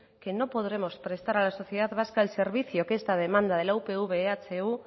no podremos prestar a la sociedad vasca el servicio que esta demanda de upv ehu